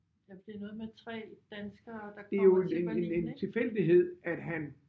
Ja for det er noget med 3 danskere der kommer til Berlin ik?